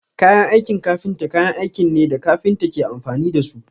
Kayan aikin kafinta kayan aikin ne da kafinta ke amfani da su.